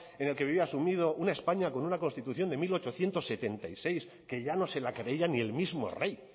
en el que vivía asumida una españa con una constitución de mil ochocientos setenta y seis que ya no se la creía ni el mismo rey